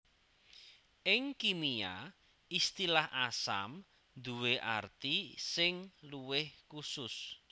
Ing kimia istilah asam duwé arti sing luwih khusus